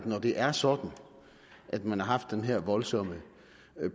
når det er sådan at man har haft den her voldsomme